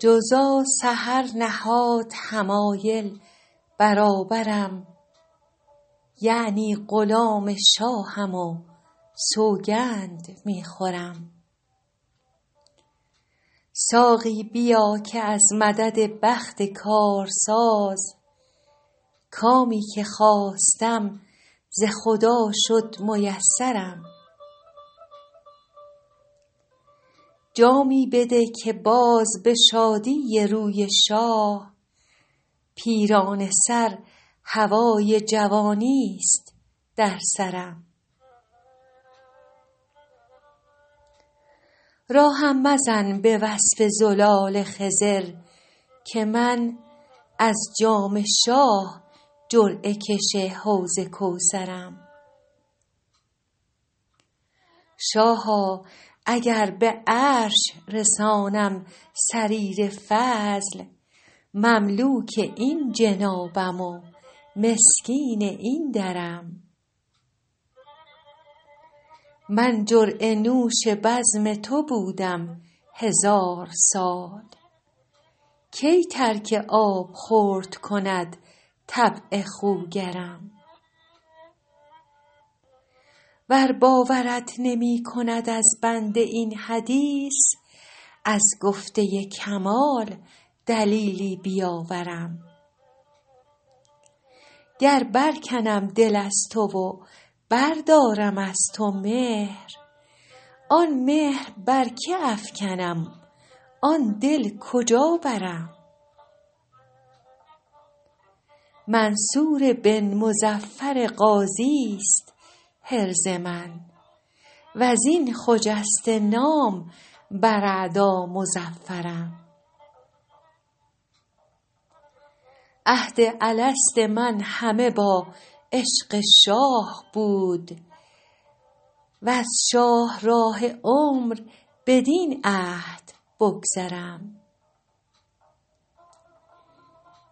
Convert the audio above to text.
جوزا سحر نهاد حمایل برابرم یعنی غلام شاهم و سوگند می خورم ساقی بیا که از مدد بخت کارساز کامی که خواستم ز خدا شد میسرم جامی بده که باز به شادی روی شاه پیرانه سر هوای جوانیست در سرم راهم مزن به وصف زلال خضر که من از جام شاه جرعه کش حوض کوثرم شاها اگر به عرش رسانم سریر فضل مملوک این جنابم و مسکین این درم من جرعه نوش بزم تو بودم هزار سال کی ترک آبخورد کند طبع خوگرم ور باورت نمی کند از بنده این حدیث از گفته کمال دلیلی بیاورم گر برکنم دل از تو و بردارم از تو مهر آن مهر بر که افکنم آن دل کجا برم منصور بن مظفر غازیست حرز من و از این خجسته نام بر اعدا مظفرم عهد الست من همه با عشق شاه بود وز شاهراه عمر بدین عهد بگذرم